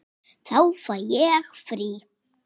Þá fæ ég frí.